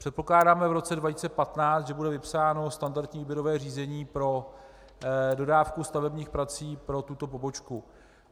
Předpokládáme v roce 2015, že bude vypsáno standardní výběrové řízení pro dodávku stavebních prací pro tuto pobočku.